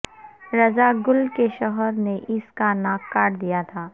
رضا گل کے شوہر نے اس کا ناک کاٹ دیا تھا